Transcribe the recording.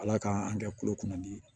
Ala k'an an kɛ kulo kɔnɔ dimi ye